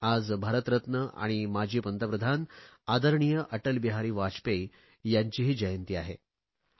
आज भारतरत्न आणि माजी पंतप्रधान आदरणीय अटल बिहारी वाजपेयी यांचा जन्मदिन आहे